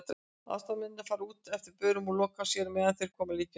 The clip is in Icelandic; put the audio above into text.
Aðstoðarmennirnir fara út eftir börum og loka að sér á meðan þeir koma líkinu fyrir.